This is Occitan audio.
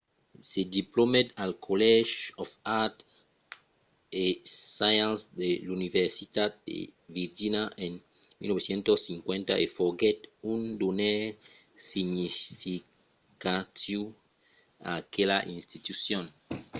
se diplomèt al college of arts & sciences de l’universitat de virgínia en 1950 e foguèt un donaire significatiu a aquela institucion